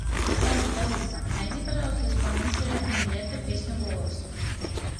салют алиса найди пожалуйста исполнителя нилетто песню голос